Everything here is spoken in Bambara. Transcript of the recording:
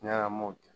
Ɲɛnamɔgɔw kɛ